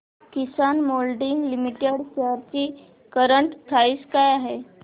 किसान moulding limited shares ची current price काय आहे